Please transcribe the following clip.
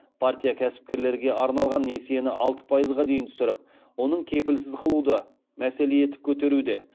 партия кәсіпкерлерге арналған несиені алты пайызға дейін түсіріп оны кепілсіз қылуды мәселе етіп көтеруде